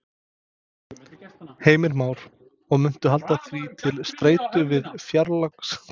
Heimir Már: Og munt halda því til streitu við fjárlagagerðina?